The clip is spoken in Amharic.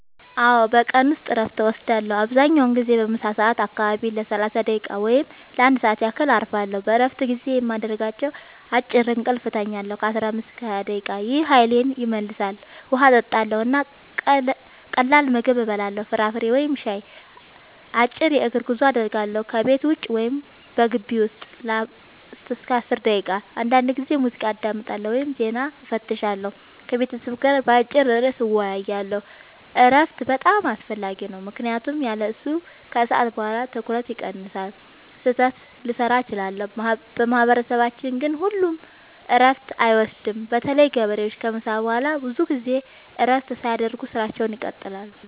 አዎ፣ በቀን ውስጥ እረፍት እወስዳለሁ። አብዛኛውን ጊዜ በምሳ ሰዓት አካባቢ ለ30 ደቂቃ ወይም ለ1 ሰዓት ያህል እረፋለሁ። በእረፍት ጊዜዬ የማደርጋቸው፦ · አጭር እንቅልፍ እተኛለሁ (15-20 ደቂቃ) – ይህ ኃይሌን ይመልሳል። · ውሃ እጠጣለሁ እና ቀላል ምግብ እበላለሁ (ፍራፍሬ ወይም ሻይ)። · አጭር የእግር ጉዞ አደርጋለሁ – ከቤት ውጭ ወይም በግቢው ውስጥ ለ5-10 ደቂቃ። · አንዳንዴ ሙዚቃ አዳምጣለሁ ወይም ዜና እፈትሻለሁ። · ከቤተሰብ ጋር በአጭር ርዕስ እወያያለሁ። እረፍት በጣም አስፈላጊ ነው ምክንያቱም ያለሱ ከሰዓት በኋላ ትኩረቴ ይቀንሳል፣ ስህተት ልሠራ እችላለሁ። በማህበረሰባችን ግን ሁሉም እረፍት አይወስዱም – በተለይ ገበሬዎች ከምሳ በኋላ ብዙ ጊዜ እረፍት ሳያደርጉ ሥራቸውን ይቀጥላሉ።